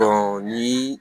ni